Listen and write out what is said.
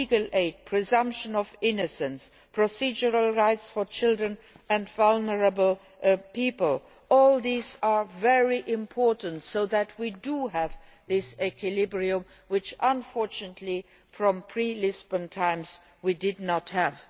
Legal aid, presumption of innocence, procedural rights for children and vulnerable people, all these are very important so that we have this equilibrium which unfortunately in pre Lisbon times we did not have.